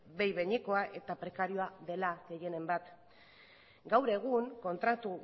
behin behinekoa eta prekarioa dela gehienen bat gaur egun kontratu